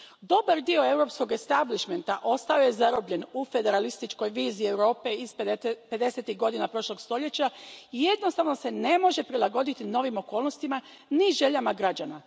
Dobar dio europskog establišmenta ostao je zarobljen u federalističkoj viziji Europe iz pedesetih godina prošlog stoljeća i jednostavno se ne može prilagoditi novim okolnostima ni željama građana.